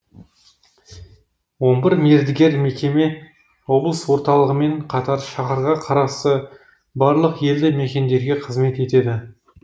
он бір мердігер мекеме облыс орталығымен қатар шаһарға қарасты барлық елді мекендерге қызмет етеді